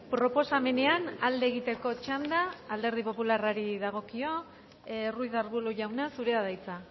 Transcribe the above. proposamenean alde egiteko txanda alderdi popularrari dagokio ruiz de arbulo jauna zurea da hitza